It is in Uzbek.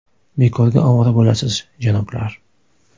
Bekorga ovora bo‘lasiz, janoblar!